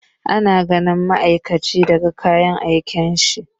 Ana gane ma'aikaci daga kayan aikinsa.